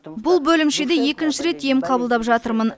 бұл бөлімшеде екінші рет ем қабылдап жатырмын